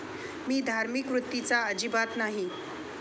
मी धार्मिक वृत्तीचा अजिबात नाही.